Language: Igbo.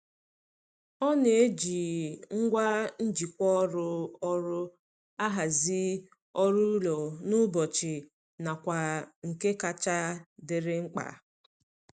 Ọ na-eji ngwa njikwa ọrụ ọrụ ahazi ọrụ ụlọ n'ụbọchị nakwa nke kacha dịrị mkpa.